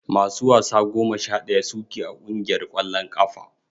Masu wasa goma sha daya su ke a kungiyar kwallon kafa.